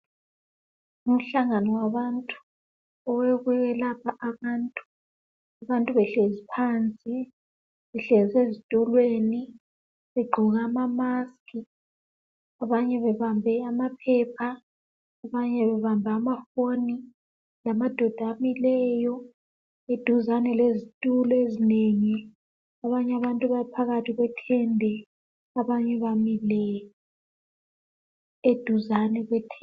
Umhlangano wabantu. Owokwelapha abantu. Abantu behlezi phansi. Behlezi ezitulweni. Begqoke amamasks. Abanye bebambe amaphepha. Abanye bebambe amafoni. Lamadoda amileyo. Eduzane lezitulo ezinengi. Abanye abantu baphakathi kwethende. Abanye bamile, eduzane lethende.